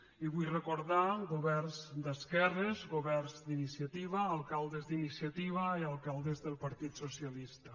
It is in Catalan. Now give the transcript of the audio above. i ho vull recordar governs d’esquerres governs d’iniciativa alcaldes d’iniciativa i alcaldes del partit socialista